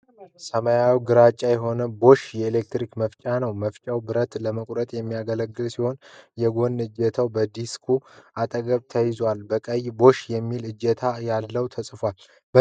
ሰማያዊና ግራጫማ የሆነ Bosch የኤሌክትሪክ መፍጫ ነው፡፡ መፍጫው ብረት ለመቁረጥ የሚያገለግል ሲሆን፣ የጎን እጀታው ከዲስኩ አጠገብ ተያይዟል። በቀይ BOSCH የሚል እጀታዉ ላይ ተጽፏል፡፡